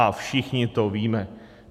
A všichni to víme.